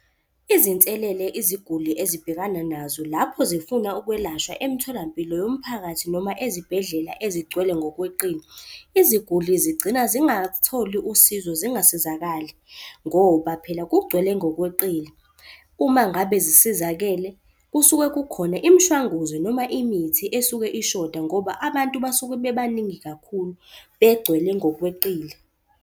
Izinselele iziguli ezibhekana nazo lapho zifuna ukwelashwa emtholampilo yomphakathi noma ezibhedlela ezigcwele ngokweqile. Iziguli zigcina zingatholi usizo, singasizakali ngoba phela kugcwele ngokweqile. Uma ngabe zisizakele kusuke kukhona imishwanguzo noma imithi esuke ishoda ngoba abantu basuke bebaningi kakhulu, begcwele ngokweqile.